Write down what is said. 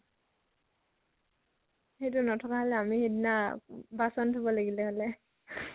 সেইতটো নথকা হলে আমি সিদিনা বাচন ধুব লাগিলে হলে